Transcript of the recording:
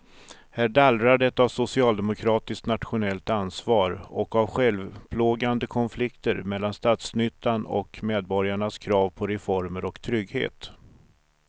Här dallrar det av socialdemokratiskt nationellt ansvar och av självplågande konflikter mellan statsnyttan och medborgarnas krav på reformer och trygghet.